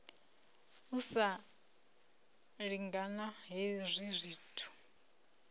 u sa lingana hezwi zwithu